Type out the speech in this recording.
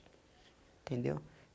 Entendeu?